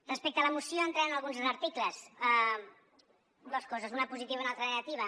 respecte a la moció entrant en alguns articles dos coses una positiva i una altra de negativa